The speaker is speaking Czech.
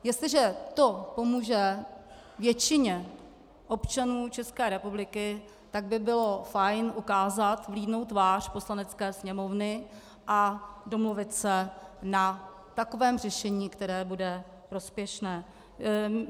Jestliže to pomůže většině občanů České republiky, tak by bylo fajn ukázat vlídnou tvář Poslanecké sněmovny a domluvit se na takovém řešení, které bude prospěšné.